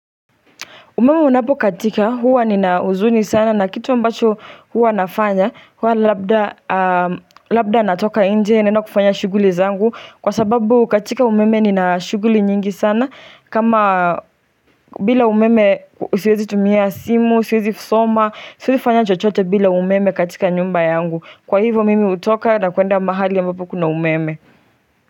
Umeme unapo katika huwa nina huzuni sana na kitu ambacho huwa nafanya, huwa labda, labda natoka nje naenda kufanya shughuli zangu, kwa sababu katika umeme nina shughuli nyingi sana kama bila umeme siwezi tumia simu, siwezi soma, siwezi fanya chochote bila umeme katika nyumba yangu, kwa hivyo mimi hutoka na kuenda mahali ambapo kuna umeme.